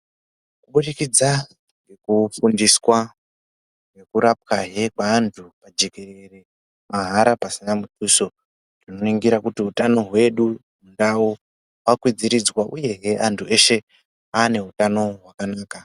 Kubudikidza nekufundiswa nekurapwa hee kwevantu pajekerere mahara pasina muduso kuningira kuti utano wedu ndawo wakwidziriswa uye hee antu eshe aane utano wakanaka.